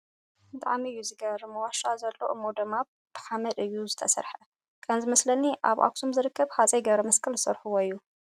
ብጣዕሚ እዩ ዝገርም ! ዋሻ ዘሎ እሞ ድማ ብሓመድ እዩ ዝተስረሐ ። ከም ዝመስለኒ ኣብ ኣክሱም ዝርከብ ሃፀይ ገብረመስቀል ዝሰርሕዎ እዩ።